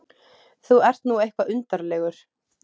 Þú ert nú eitthvað undarlegur.